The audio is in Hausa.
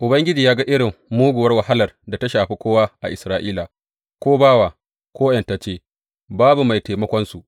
Ubangiji ya ga irin muguwar wahalar da ta shafi kowa a Isra’ila, ko bawa ko ’yantacce, babu mai taimakonsu.